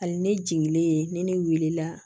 Hali ne jigilen ni ne wulila